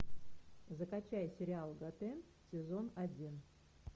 закачай сериал готэм сезон один